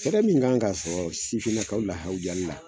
Fɛrɛ min kan ka sɔrɔ sifinnakaw la hawujali la